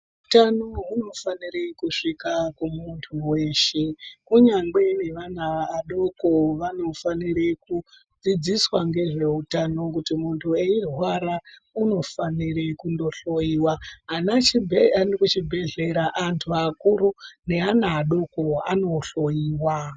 Utano hunofanire kusvika kumuntu weshe kunyange neana adoko vanofanire kudziidziswa ngezveutano kuti muntu eirrwara unofanire kundohloyiwa ,antu kuchibhehlera, antu akuru neana adoko anohloyiwa.